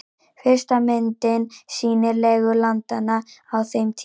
Fyrsta myndin sýnir legu landanna á þeim tíma.